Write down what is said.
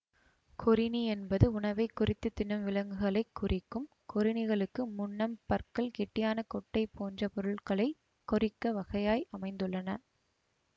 கொறிணி என்பது உணவைக் கொறித்து தின்னும் விலங்குகளை குறிக்கும் கொறிணிகளுக்கு முன்னம் பற்கள் கெட்டியான கொட்டை போன்ற பொருள்களை கொறிக்க வகையாய் அமைந்துள்ளன